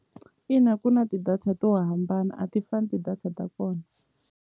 Ina ku na ti-data to hambana a ti fani ti-data ta kona.